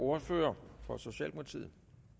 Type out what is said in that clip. ordfører for socialdemokratiet